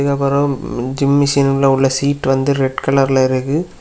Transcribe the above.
Gym machine உள்ள seat வந்து red கலர்ல இருக்கு.